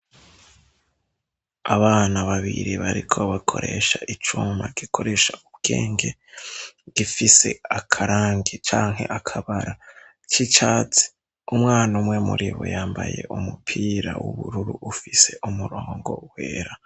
Abana babiri bariko bakoresha icuma gikoresha ubwenge, gifise akarangi canke akabara k'icatsi, umwana umwe muri bo yambaye umupira w'ubururu ufise umurongo wera.